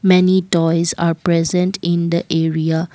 many toys are present in the area.